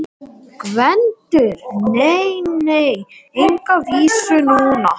GVENDUR: Nei, nei, enga vísu núna.